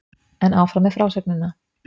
En áfram með frásögnina!